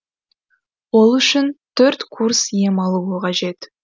ол үшін курс ем алуы қажет